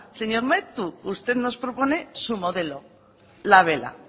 señor maeztu usted nos propone su modelo la vela